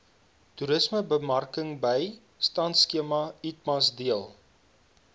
toerismebemarkingbystandskema itmas deel